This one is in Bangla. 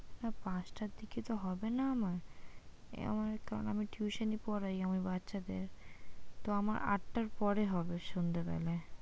পাঁচটার দিকে তো হবে না আমার, কারন আমি tuition পড়াই আমি বাচ্চাদের তো আমার আটটার পরে হবে সন্ধ্যাবেলায়।